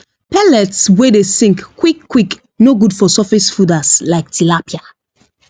pellets wey dey sink quick quick no good for surface fooders like tilapia